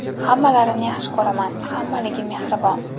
Hammalarini yaxshi ko‘raman, hammaligi mehribon.